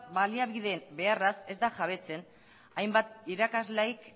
baliabide beharraz ez da jabetzen hainbat irakasleei